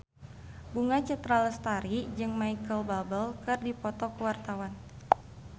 Bunga Citra Lestari jeung Micheal Bubble keur dipoto ku wartawan